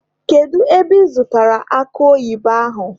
Kedu ebe ị zụtara akụ oyibo ahụ?